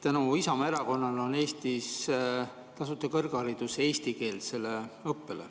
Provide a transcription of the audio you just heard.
Tänu Isamaa Erakonnale on Eestis eestikeelses õppes tasuta kõrgharidus.